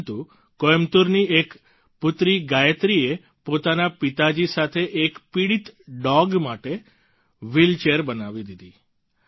પરંતુ કોઈમ્બતૂરની એક પુત્રી ગાયત્રીએ પોતાના પિતાજી સાથે એક પીડિત ડોગ માટે વ્હીલચેર બનાવી દીધી